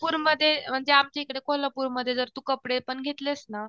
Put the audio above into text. मध्ये म्हणजे आमच्याइकडे कोल्हापूरमध्ये जर तू कपडेपण घेतलेस ना